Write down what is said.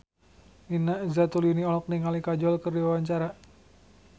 Nina Zatulini olohok ningali Kajol keur diwawancara